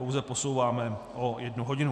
Pouze posouváme o jednu hodinu.